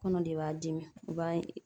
Kɔnɔ de b'a dimi i, b'a